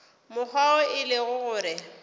mokgwa wo e lego gore